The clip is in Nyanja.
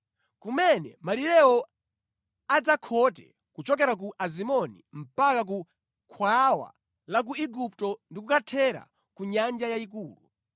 kumene malirewo adzakhote kuchokera ku Azimoni mpaka ku khwawa la ku Igupto ndi kukathera ku Nyanja Yayikulu.